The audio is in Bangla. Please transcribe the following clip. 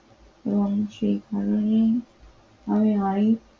সেখানে আমি আর